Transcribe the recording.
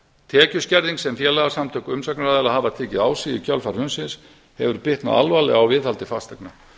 tekjuskerðing sem félagaskerðing sem félagasamtök umsagnaraðila hafa tekið á sig í kjölfar hrunsins hefur bitnað alvarlega á viðhaldi fasteigna